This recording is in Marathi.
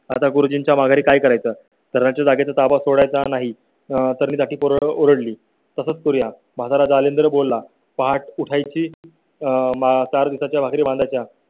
आता गुरुजींच्या माघारी काय करायचं तर त्यांच्या जागेचा ताबा सोडायचा नाही आह तरणीताठी पोरं ओरडली तसंच खुल्या बाजारात आले तर बोला पहाटे उठाय ची. आह मग छात्र चार दिवसाच्या भाकरी बांधल्या